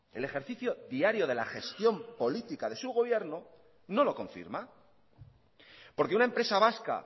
el ejercicio diario de la gestión política de su gobierno no lo confirma porque una empresa vasca